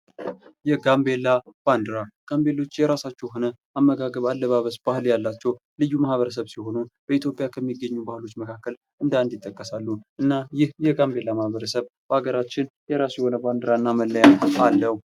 የጋምቤላ ባንዲራ ጋቤላዎች የራሳቸው የሆነ አመጋገብ አለባበስ ያላቸው ልዩ ማህበረሰብ ሲሆኑ በኢትዮጵያ ከሚገኙ ብሔሮች መካከል እንደ 1 ይጠቀሳሉ። እና ይህ የጋምቤላ ማህበረሰብ የራሱ የሆነ ባንዲራ አለዉ።